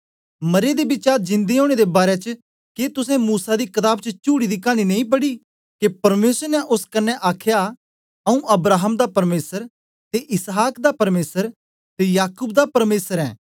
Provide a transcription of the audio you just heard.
मरे दे बिचा जिन्दे ओनें दे बारै च के तुसें मूसा दी कताब च चुड़ी दी कानी च नेई पढ़या के परमेसर ने ओस कन्ने आखया आऊँ अब्राहम दा परमेसर ते इसहाक दा परमेसर ते याकूब दा परमेसर ऐं